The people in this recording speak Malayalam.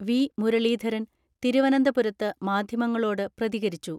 വി. മുരളീധരൻ തിരുവനന്തപുരത്ത് മാധ്യമങ്ങളോട് പ്രതികരിച്ചു.